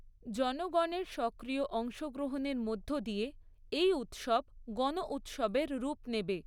জনগণের সক্রিয় অংশগ্রহণের মধ্য দিয়ে এই উৎসব গণউৎসবের রূপ নেবে।